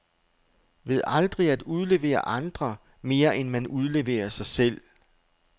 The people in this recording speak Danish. Ved aldrig at udlevere andre, mere end man udleverer sig selv.